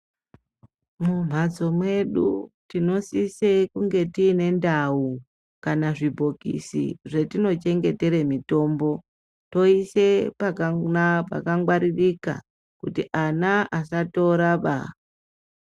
Mumhatso mwedu tinosise kunge tine ndau kana zvibhokisi zvetinochengetere mitombo, toise pakangwaririka, kuti ana asatoraba.